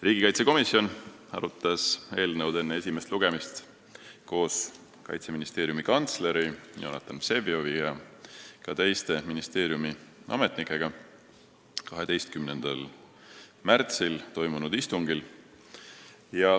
Riigikaitsekomisjon arutas eelnõu enne esimest lugemist koos Kaitseministeeriumi kantsleri Jonatan Vseviovi ja ministeeriumi teiste ametnikega 12. märtsil toimunud istungil.